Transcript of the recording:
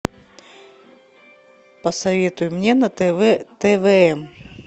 посоветуй мне на тв твм